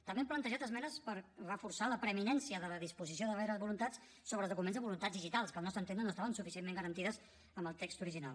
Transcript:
també hem plantejat esmenes per reforçar la preeminència de la disposició de darreres voluntats sobre els documents de voluntats digitals que al nostre entendre no es troba suficientment garantida en el text original